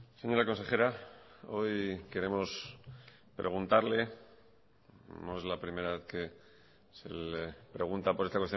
señora consejera hoy queremos preguntarle no es la primera vez que se le pregunta por esta